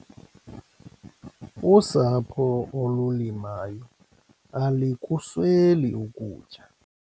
Usapho olulimayo alikusweli ukutya.